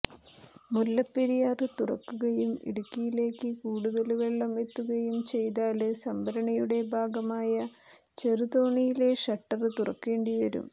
മുല്ലപ്പെരിയാര് തുറക്കുകയും ഇടുക്കിയിലേക്ക് കൂടുതല് വെള്ളം എത്തുകയും ചെയ്താല് സംഭരണിയുടെ ഭാഗമായ ചെറുതോണിയിലെ ഷട്ടര് തുറക്കേണ്ടി വരും